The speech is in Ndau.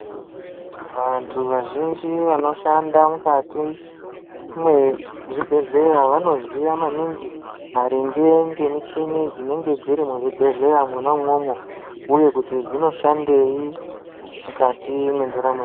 Vanthu vazhinji vanofamba mukati mezvibhedhleya vanoziya maningi maringe ngemicgini dzinenge dziri muzvibhedhleya mona umwomwo uye kuti dzinoshandei mukati mwendaramo yedu.